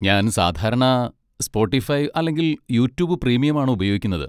ഞാൻ സാധാരണ സ്പോട്ടിഫൈ അല്ലെങ്കിൽ യൂട്യൂബ് പ്രീമിയം ആണ് ഉപയോഗിക്കുന്നത്.